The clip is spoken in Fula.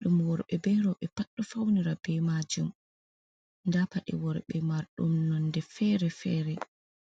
ɗum worɓe be roɓɓe pad ɗo faunira be majum nda pade worɓe marɗum nonde fere fere.